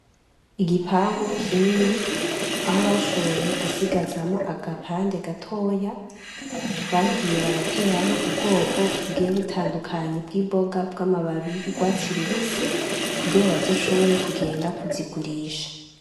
Igipangu kinini aho bashoboye gusigazamwo agapande gatoya bagiye barateramwo ubwoko bugiye butandukanye bw'imboga bw'amababi y'urwatsi rubisi kugira bazoshobore kugenda kuzigurisha.